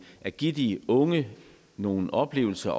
at give de unge nogle oplevelser